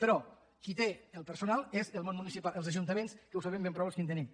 però qui té el personal és el món municipal els ajuntaments que ho sabem ben prou els qui en tenim